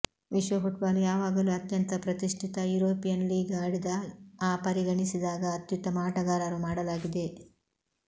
ವಿಶ್ವ ಫುಟ್ಬಾಲ್ ಯಾವಾಗಲೂ ಅತ್ಯಂತ ಪ್ರತಿಷ್ಠಿತ ಯುರೋಪಿಯನ್ ಲೀಗ್ ಆಡಿದ ಆ ಪರಿಗಣಿಸಿದಾಗ ಅತ್ಯುತ್ತಮ ಆಟಗಾರರು ಮಾಡಲಾಗಿದೆ